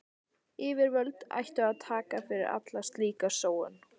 Yfirvöld ættu að taka fyrir alla slíka sóun.